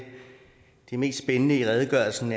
mest spændende i redegørelsen